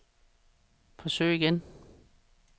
forsøg igen